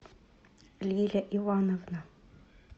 лиля ивановна